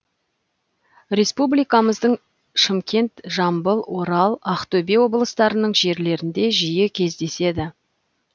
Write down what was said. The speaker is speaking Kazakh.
республикамыздың шымкент жамбыл орал ақтөбе облыстарының жерлерінде жиі кездеседі